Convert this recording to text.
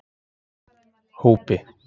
Hópi